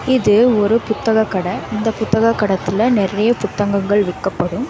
இது ஒரு புத்தக கட இந்த புத்தகக் கடக்குள்ள நெறைய புத்தகங்கள் விக்கப்படும்.